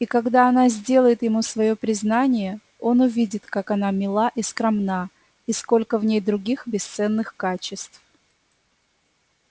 и когда она сделает ему своё признание он увидит как она мила и скромна и сколько в ней других бесценных качеств